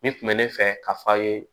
Nin kun bɛ ne fɛ ka fɔ a ye